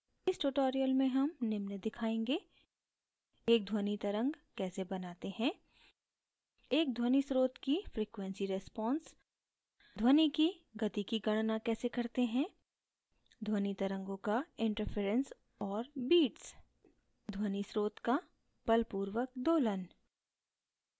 इस tutorial में हम निम्न दिखायेंगे: